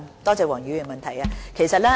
多謝黃議員的補充質詢。